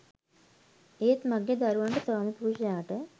ඒත් මගේ දරුවන්ට ස්වාමිපුරුෂයාට